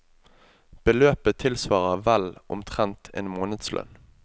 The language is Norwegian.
Beløpet tilsvarer vel omtrent en månedslønn.